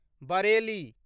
Bareilly